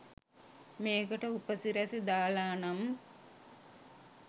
මේකට උපසිරැසි දාලානම්